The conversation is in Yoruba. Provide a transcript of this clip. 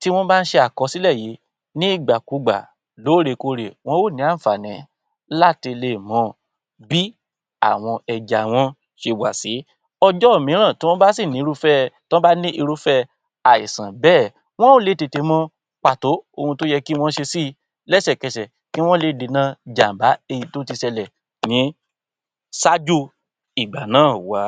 tí wọ́n bá ń ṣe àkọsílẹ̀ yìí ni ìgbà kú gbà lóòrèkorè wọn ó ní àǹfààní láti lè mọ bí àwọn ẹja wọ́n ṣe wà sí. Ọjọ́ mìíràn tí wọ́n bá sì ní irúfẹ́ tó bá ní irúfẹ́ àìsàn bẹ́ẹ̀ wọn ó lè tètè mọ pàtó ohun tó yẹ kí wọ́n ṣe si lẹ́sẹ̀kẹsẹ̀ kí wọ́n lè dènà jàm̀bá èyí tó ti ṣẹlẹ̀ ní ṣáájú ìgbà náà wá.